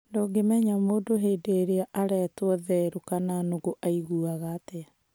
Ndũngĩmenya mũndũ hĩndĩ ïrĩa aretwo therũ kana nũgũ aiguaga atĩa